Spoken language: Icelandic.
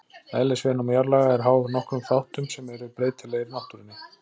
Eðlisviðnám jarðlaga er háð nokkrum þáttum sem eru breytilegir í náttúrunni.